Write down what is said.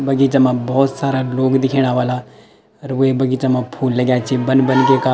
बगीचा मा भौत सारा लोग दिख्येणा ह्वाला अर वे बगीचा मा फूल लग्याँ छी बन बन ब्वेका।